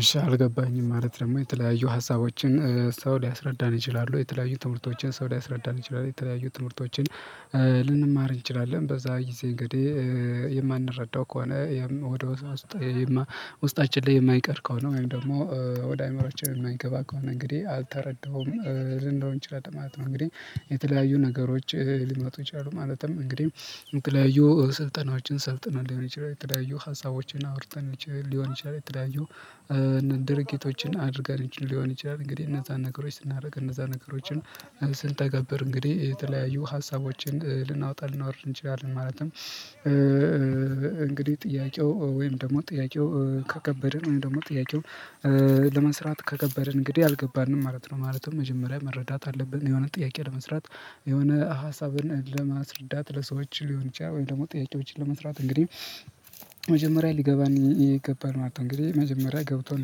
እሺ አልገባኝም ማለት ደግሞ የተለያዩ ሀሳቦችን ሰው ሊያስረዳን ይችላሉ። የተለያዩ ትምህርቶችን ሰው ሊያስረዳን ይችላሉ የተለያዩ ትምህርቶችን ልንማር እንችላለን። በዛ ጊዜ እንግዲህ የማንረዳው ከሆነ ወደ ውስጣችን ላይ የማይቀር ከሆነ ወይም ደግሞ ወደ አእምሮአችን የማይገባ ከሆነ እንግዲህ አልተረዳሁም ልንለው እንችላለን ማለት ነው። እንግዲህ የተለያዩ ነገሮች ሊመጡ ይችላሉ ማለትም እንግዲህ የተለያዩ ስልጠናዎችን ሰልጥነን ሊሆን ይችላል የተለያዩ ሀሳቦችን አውርተን ሊሆን ይችላል። የተለያዩ ድርጊቶችን አድርገን ሊሆን ይችላል እንግዲህ እነዛን ነገሮች ስናደርግ እነዛን ነገሮችን ስንተገብር እንግዲህ የተለያዩ ሀሳቦችን ልናወጣ ልናወርድ እንችላለን ማለትም። እንግዲህ ጥያቄው ወይም ደግሞ ጥያቄው ከከበደን ወይም ደግሞ ጥያቄውን ለመስራት ከከበድን እንግዲህ አልገባንም ማለት ነው ማለት ነው። መጀመሪያ መረዳት አለብን የሆነ ጥያቄ ለመስራት የሆነ ሀሳብን ለማስረዳት ለሰዎች ሊሆን ይችላል። ወይም ደግሞ ጥያቄዎችን ለመስራት እንግዲህ መጀመሪያ ሊገባን ይገባን ማለት ነው። እንግዲህ መጀመሪያ ገብቶን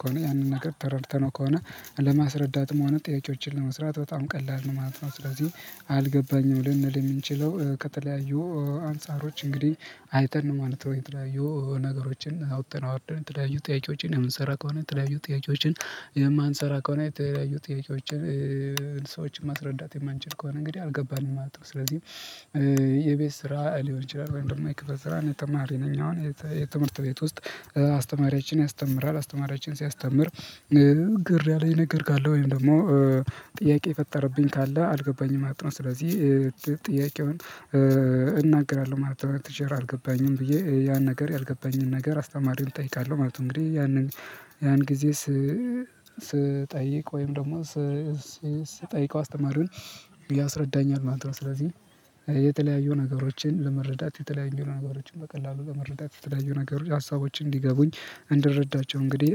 ከሆነ ያንን ነገር ተረድተነው ከሆነ ለማስረዳትም ሆነ ጥያቄዎችን ለመስራት በጣም ቀላል ነው ማለት ነው። ስለዚህ አልገባኝም ልንል የምንችለው ከተለያዩ አንፃሮች እንግዲህ አይተን ነው ማለት ነው። የተለያዩ ነገሮችን አውጥተን አወርደን የተለያዩ ጥያቄዎችን የምንሰራ ከሆነ የተለያዩ ጥያቄዎችን የማንሰራ ከሆነ የተለያዩ ጥያቄዎችን ሰዎችን ማስረዳት የማንችል ከሆነ እንግዲህ አልገባንም ማለት ነው። ስለዚህ የቤት ስራ ሊሆን ይችላል ወይም ደግሞ የክፍል ስራ እኔ ተማሪ ነኝ አሁን። የትምህርት ቤት ውስጥ አስተማሪያችን ያስተምራል አስተማሪያችን ሲያስተምር ግር ያለኝ ነገር ካለ ወይም ደግሞ ጥያቄ የፈጠረብኝ ካለ አልገባኝም አጥና ስለዚህ ጥያቄውን እናገራለሁ ማለት ነው። ቲቸር አልገባኝም ብዬ ያን ነገር ያልገባኝን ነገር አስተማሪ እጠይቃለሁ ማለት ነው። እንግዲህ ያንን ያን ጊዜ ስጠይቅ ወይም ደግሞ ስትጠይቀው አስተማሪውን ያስረዳኛል ማለት ነው። ስለዚህ የተለያዩ ነገሮችን ለመረዳት የተለያዩ ነገሮችን በቀላሉ ለመረዳት የተለያዩ ነገሮች ሀሳቦችን እንዲገቡኝ እንድረዳቸው እንግዲህ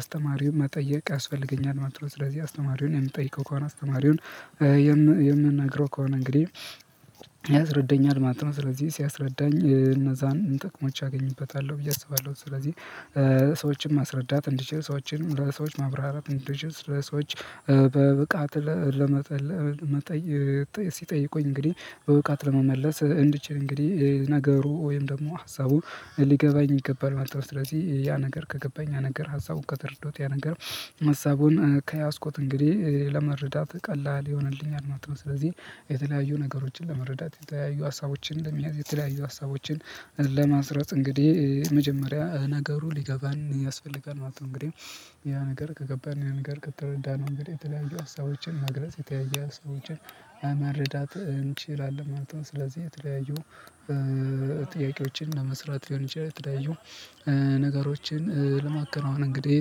አስተማሪውን መጠየቅ ያስፈልገኛል ማለት ነው። ስለዚህ አስተማሪውን የምትጠይቀው ከሆነ አስተማሪውን የምንነግረው ከሆነ እንግዲህ ያስረዳኛል ማለት ነው። ስለዚህ ሲያስረዳኝ እነዛን ጥቅሞች አገኝበታለሁ ብዬ አስባለሁ። ስለዚህ ሰዎችን ማስረዳት እንዲችል ሰዎችንም ለሰዎች ማብራራት እንዲችል ሰዎች በብቃት ለመጠየቅ ሲጠይቁኝ እንግዲህ በብቃት ለመመለስ እንድችል እንግዲህ ነገሩ ወይም ደግሞ ሀሳቡ ሊገባኝ ይገባል ማለት ነው። ስለዚህ ያ ነገር ከገባኝ ያ ነገር ሀሳቡን ከተረዳውት ያ ነገር ሀሳቡን ከያዝኩት እንግዲህ ለመረዳት ቀላል ይሆንልኛል ማለት ነው። ስለዚህ የተለያዩ ነገሮችን መረዳት የተለያዩ ሀሳቦችን ለመያዝ የተለያዩ ሀሳቦችን ለማስረፅ እንግዲህ መጀመሪያ ነገሩ ሊገባን ያስፈልጋል ማለት ነው። እንግዲህ ያ ነገር ከገባን ያን ነገር ከተረዳነው እንግዲህ የተለያዩ ሀሳቦችን መግለጽ የተለያየ ሀሳቦችን መረዳት እንችላለን ማለት ነው። ስለዚህ የተለያዩ ጥያቄዎችን ለመስራት ሊሆን ይችላል የተለያዩ ነገሮችን ለማከናወን እንግዲህ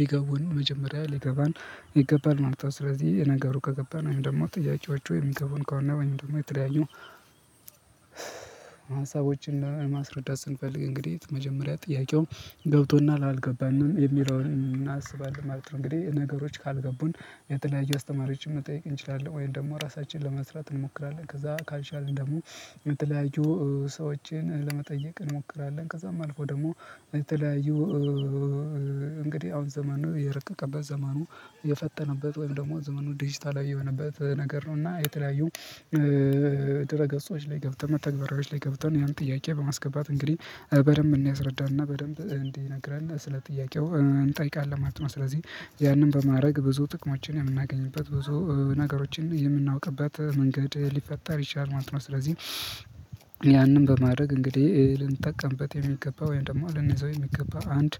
ሊገቡን መጀመሪያ ሊገባን ይገባል ማለት ነው። ስለዚህ ነገሩ ከገባን ወይም ደግሞ ጥያቄዎቹ የሚገቡን ከሆነ ወይም ደግሞ የተለያዩ ሀሳቦችን ለማስረዳት ስንፈልግ እንግዲህ መጀመሪያ ጥያቄውን ገብቶናል አልገባንም የሚለውን እናስባለን ማለት ነው። እንግዲህ ነገሮች ካልገቡን የተለያዩ አስተማሪዎችን መጠየቅ እንችላለን ወይም ደግሞ ራሳችንን ለመስራት እንሞክራለን ከዛ ካልቻልን ደግሞ የተለያዩ ሰዎችን ለመጠየቅ እንሞክራለን። ከዛም አልፎ ደግሞ የተለያዩ እንግዲህ አሁን ዘመኑ የረቀቀበት ዘመኑ የፈጠነበት ወይም ደግሞ ዘመኑ ዲጂታል የሆነበት ነገር ነው። እና የተለያዩ ድረገፆች ላይ ገብተን መተግበራዎች ላይ ገብተን ያን ጥያቄ በማስገባት እንግዲህ በደንብ እንዲያስረዳንና በደንብ እንዲነግረን ስለ ጥያቄው እንጠይቃለን ማለት ነው። ስለዚህ ያንን በማድረግ ብዙ ጥቅሞችን የምናገኝበት ብዙ ነገሮችን የምናውቅበት መንገድ ሊፈጠር ይችላል ማለት ነው። ስለዚህ ያንን በማድረግ እንግዲህ ልንጠቀምበት የሚገባ ወይም ደግሞ ልንይዘው የሚገባ አንድ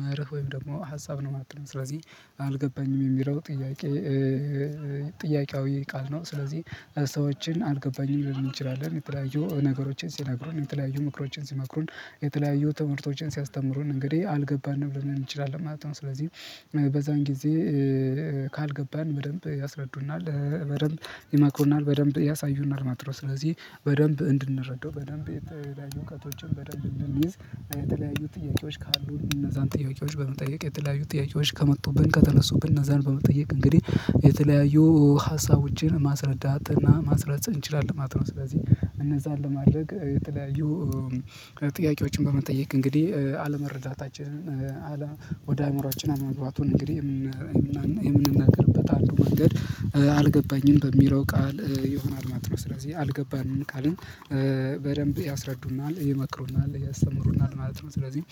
መርህ ወይም ደግሞ ሀሳብ ነው ማለት ነው። ስለዚህ አልገባኝም የሚለው ጥያቄ ጥያቄያዊ ቃል ነው። ስለዚህ ሰዎችን አልገባኝም ልንል እንችላለን የተለያዩ ነገሮችን ሲነግሩን የተለያዩ ምክሮችን ሲመክሩን የተለያዩ ትምህርቶችን ሲያስተምሩን እንግዲህ አልገባንም ልንል እንችላለን ማለት ነው። ስለዚህ በዛን ጊዜ ካልገባን በደንብ ያስረዱናል በደንብ ይመክሩናል በደንብ ያሳዩናል ማለት ነው። ስለዚህ በደንብ እንድንረዳው በደንብ የተለያዩ እውቀቶችን በደንብ እንድንይዝ የተለያዩ ጥያቄዎች ካሉ እነዛን ጥያቄዎች በመጠየቅ የተለያዩ ጥያቄዎች ከመጡብን ከተነሱብን እነዛን በመጠየቅ እንግዲህ የተለያዩ ሀሳቦችን ማስረዳት እና ማስረፅ እንችላለን ማለት ነው። ስለዚህ እነዛን ለማድረግ የተለያዩ ጥያቄዎችን በመጠየቅ እንግዲህ አለመረዳታችንን ወደ አእምሮአችን አለመግባቱን እንግዲህ የምንናገርበት አንዱ መንገድ አልገባኝም በሚለው ቃል ይሆናል ማለት ነው። ስለዚህ አልገባንም ቃልን በደንብ ያስረዱናል ይመክሩናል ያስተምሩናል ማለት ነው። ስለዚህ